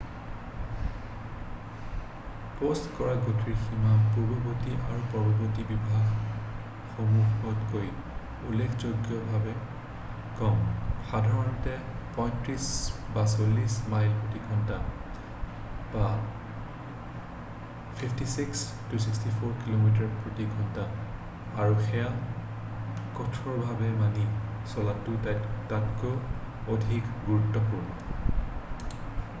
Post কৰা গতিৰ সীমা পূৰ্বৱৰ্তী আৰু পৰৱৰ্তী বিভাগসমূহতকৈ উল্লেখযোগ্যভাৱে কম — সাধাৰণতে ৩৫-৪০ মাইল/ঘণ্টা ৫৬-৬৪ কিমি/ঘণ্টা — আৰু সেয়া কঠোৰভাৱে মানি চলাটো তাতকৈও অধিক গুৰুত্বপূৰ্ণ।